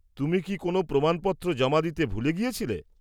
তুমি কি কোনও প্রমাণপত্র জমা দিতে ভুলে গেছিলে?